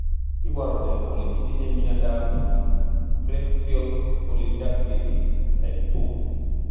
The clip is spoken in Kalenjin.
Iporu ne kole itinye miondap Preaxial polydactyly type 2?